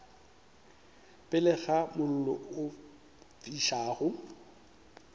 pele ga mollo o fišago